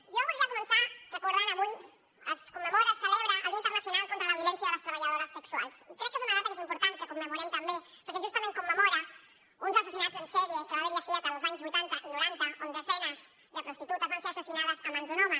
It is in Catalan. jo voldria començar recordant que avui es commemora es celebra el dia internacional contra la violència envers les treballadores sexuals i crec que és una data que és important que commemorem també perquè justament commemora uns assassinats en sèrie que va haver hi a seattle als anys vuitanta i noranta on desenes de prostitutes van ser assassinades a mans d’un home